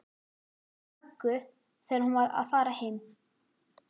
Möggu þegar hún var að fara heim.